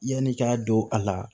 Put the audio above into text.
Yanni i ka don a la